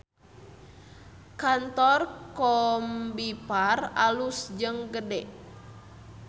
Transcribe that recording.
Kantor Combiphar alus jeung gede